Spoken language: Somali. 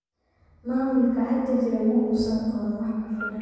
Maamulka hadda jira ma uusan qaban wax ku filan.